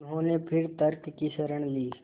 उन्होंने फिर तर्क की शरण ली